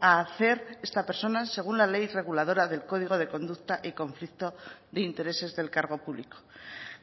a hacer esta persona según la ley reguladora del código de conducta y conflicto de intereses del cargo público